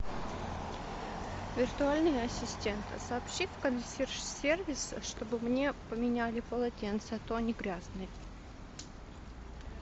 виртуальный ассистент сообщи в консьерж сервис чтобы мне поменяли полотенца а то они грязные